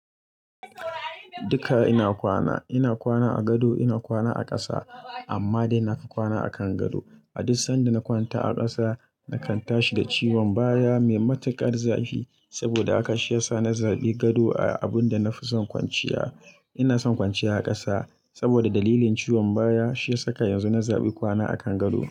Duka ina kwana, ina kwana a gado, ina kwana a ƙasa, amma dai nafi kwana a kan gado. A duk sanda na kwanta a ƙasa, nakan tashi da ciwon baya mai matuƙar zafi, saboda haka shi ya sa na zaɓi gado a abun da na fi son kwanciya. Ina son kwanciya a ƙasa saboda dalilin ciwon baya shi ya saka yanzu na zaɓi kwana a kan gado.